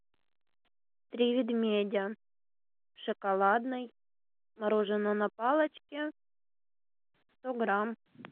три медведя шоколадный мороженое на палочке сто грамм